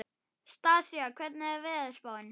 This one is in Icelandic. Stasía, hvernig er veðurspáin?